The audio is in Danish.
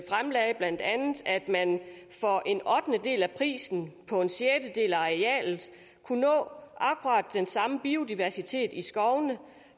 man for en ottendedel af prisen på en sjettedel af arealet kunne nå akkurat den samme biodiversitet i skovene